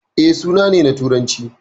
E, suna ne na Turanci.